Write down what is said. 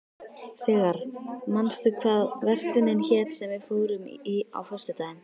Sigarr, manstu hvað verslunin hét sem við fórum í á föstudaginn?